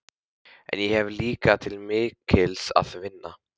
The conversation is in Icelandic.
En ég hef líka til mikils að vinna.